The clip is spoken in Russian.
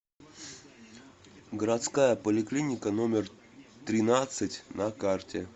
городская поликлиника номер тринадцать на карте